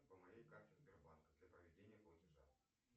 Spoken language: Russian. по моей карте сбербанка для проведения платежа